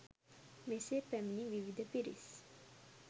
මෙසේ පැමිණි විවිධ පිරිස්